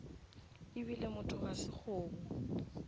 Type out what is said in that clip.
ebile motho ga se kgomo